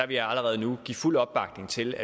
vil jeg allerede nu give fuld opbakning til